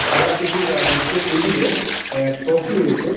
খেলার কিছু অ্যা দুটো টেবিলে অ্যা ট্রফি রয়েছে।